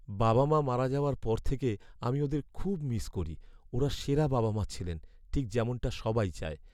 বাবা মা মারা যাওয়ার পর থেকে আমি ওঁদের খুব মিস করি। ওঁরা সেরা বাবা মা ছিলেন, ঠিক যেমনটা সবাই চায়।